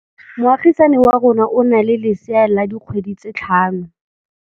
Moagisane wa rona o na le lesea la dikgwedi tse tlhano.